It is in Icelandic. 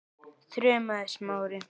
þrumaði Smári.